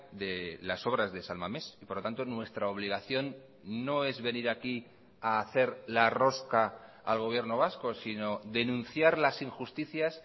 de las obras de san mames y por lo tanto nuestra obligación no es venir aquí a hacer la rosca al gobierno vasco sino denunciar las injusticias